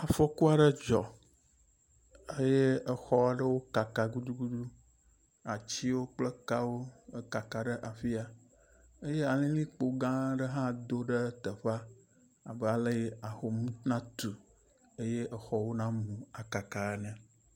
Afɔku aɖe dzɔ eye exɔ gã aɖewo kaka gudugudu, atiwo kple kawo kaka ɖe afi ya eye alilikpo gã aɖe hã do ɖe teƒea abe aleyi ahom natu eye exɔwo namu akaka ene.